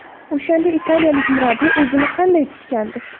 O‘shanda italiyalik murabbiy o‘zini qanday tutgandi?